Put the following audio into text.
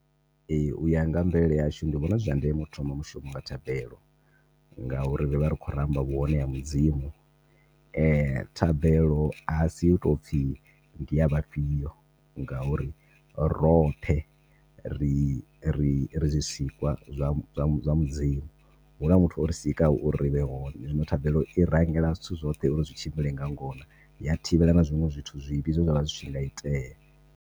Ehe uya nga mvelele yashu ndi vhona zwi zwa ndeme u thoma mushumo nga thabelo ngauri ri vha ti khou ramba vhu hone ha mudzimu thabelo asi yo toupfi ndi ya vhafhio ngauri roṱhe ri ri zwisikwa zwa zwa mudzimu. Huna muthu ori sika ho uri ri vhe hone zwino thabelo i rangela zwithu zwoṱhe uri zwi tshimbile nga ngona ya thivhela na zwiṅwe zwithu zwivhi zwe zwa tshinga itea.